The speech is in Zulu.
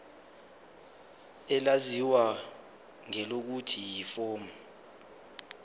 elaziwa ngelokuthi yiform